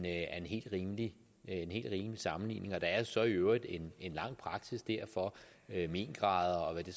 helt rimelig sammenligning der er der så i øvrigt en lang praksis for mengrader og hvad det